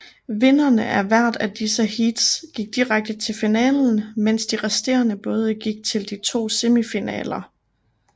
Vinderne af hvert af disse heats gik direkte til finalen mens de resterende både gik til de to semifinaler